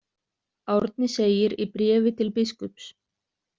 Árni segir í bréfi til biskups.